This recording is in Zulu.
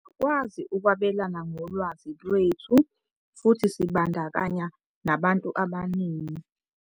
"Siyakwazi ukwabelana ngolwazi lwethu futhi sibandakanye nabantu abaningi."